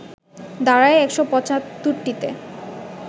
দাঁড়ায় ১৭৫টিতে